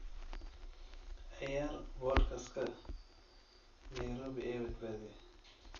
ciyaar podcast-ka nairobi ee badbaaday